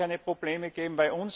Es wird da keine Probleme geben.